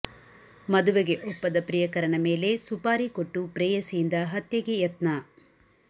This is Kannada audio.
ಮದುವೆಗೆ ಒಪ್ಪದ ಪ್ರಿಯಕರನ ಮೇಲೆ ಸುಪಾರಿ ಕೊಟ್ಟು ಪ್ರೇಯಸಿಯಿಂದ ಹತ್ಯೆಗೆ ಯತ್ನ